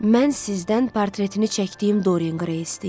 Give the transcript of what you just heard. Mən sizdən portretini çəkdiyim Doren Qreyi istəyirəm.